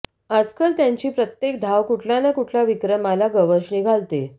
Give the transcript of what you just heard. आजकाल त्याची प्रत्येक धाव कुठला ना कुठल्या विक्रमाला गवसणी घालते